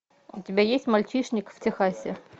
у тебя есть мальчишник в техасе